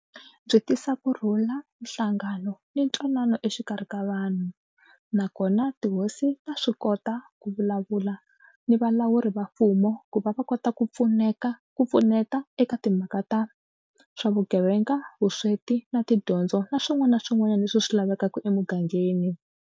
Byi tisa kurhula, nhlangano ni ntwanano exikarhi ka vanhu nakona tihosi ta swi kota ku vulavula ni valawuri va mfumo ku va va kota ku pfuneka ku pfuneta eka timhaka ta swa vugevenga, vusweti na tidyondzo na swin'wana na swin'wanyana leswi swi lavekaka emugangeni.